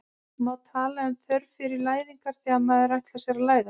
Má tala um þörf sé fyrir læðing þegar maður ætlar sér að læðast?